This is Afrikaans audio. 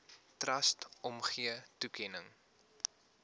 trust omgee toekenning